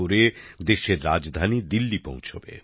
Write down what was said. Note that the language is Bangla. করে দেশের রাজধানী দিল্লি পৌছবে